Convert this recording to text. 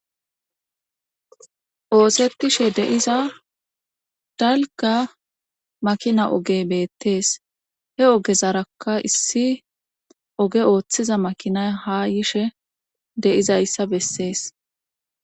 Oosetishe deiza dalga makina oge beettees he ogezarakka issi oge ooththiza makina ha yishe deizayssa bessees.